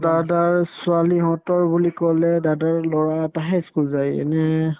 দাদাৰ ছোৱালী হঁতৰ বুলি ক'লে দাদাৰ ল'ৰা এটাহে ই school যায় এনে